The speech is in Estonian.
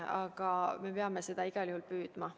Aga me peame selle poole igal juhul püüdlema.